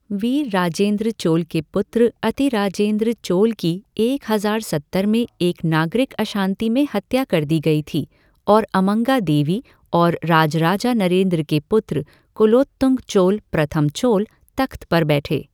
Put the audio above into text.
वीरराजेन्द्र चोल के पुत्र अतिराजेन्द्र चोल की एक हज़ार सत्तर में एक नागरिक अशांति में हत्या कर दी गई थी और अम्मंगा देवी और राजराजा नरेंद्र के पुत्र कुलोत्तुंग चोल प्रथम चोल तख़्त पर बैठे।